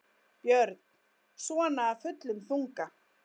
Björn: Svona af fullum þunga?